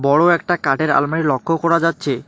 বড়ো একটা কাঠের আলমারি লক্ষ্য করা যাচ্ছে।